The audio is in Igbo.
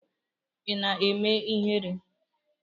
Ị na-eme ihere?